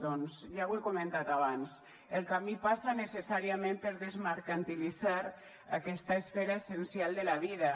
doncs ja ho he comentat abans el camí passa necessàriament per desmercantilitzar aquesta esfera essencial de la vida